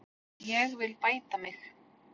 Ég vil bæta mig.